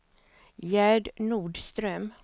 Gerd Nordström